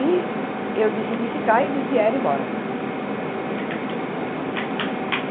E eu decidi ficar e eles vieram embora.